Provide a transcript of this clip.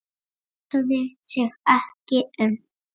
Hugsaði sig ekki um!